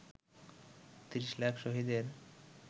৩০ লাখ শহীদের